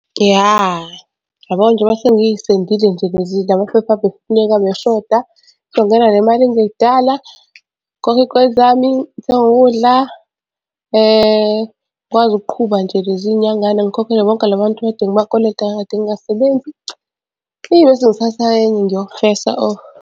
Ya uyabona njengoba sengisendile nje la maphepha abefuneka abeshoda, izongena le mali kungekudala ngikhokhe iy'kweletu zami ngithenge ukudla ngikwazi ukuqhuba nje lezi y'nyangana. Ngikhokhele bonke la bantu ekade ngibakweleta kade ngingasebenzi. Eyi bese ngithatha enye ngiyofesa .